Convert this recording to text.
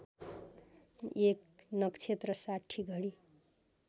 एक नक्षेत्र ६० घडी